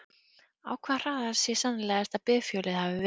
Á hvaða hraða sé sennilegast að bifhjólið hafi verið?